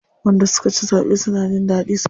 Wanda suka ci zaɓe suna jin daɗi sosai.